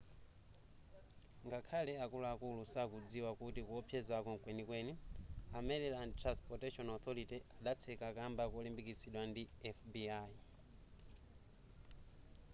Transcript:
ngakhale akuluakulu sakudzikwa kuti kuwopsezako mkwenikweni a maryland transportation authority adatseka kamba kolimbikitsidwa ndi fbi